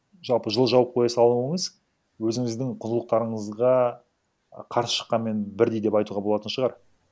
жалпы жылы жауып қоя салуыңыз өзіңіздің құндылықтарыңызға қарсы шыққанмен бірдей деп айтуға болатын шығар